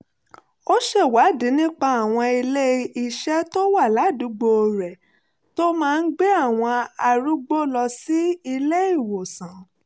ó ṣèwádìí nípa àwọn ilé-iṣẹ́ tó wà ládùúgbò rẹ̀ tó máa ń gbé àwọn arúgbó lọ sí ilé-ìwòsàn